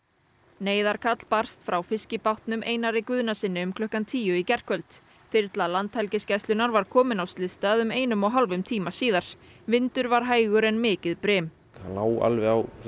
neyðarkall barst frá fiskibátnum Einari Guðnasyni um klukkan tíu í gærkvöld þyrla Landhelgisgæslunnar var komin á slysstað um einum og hálfum tíma síðar vindur var hægur en mikið brim það lá alveg á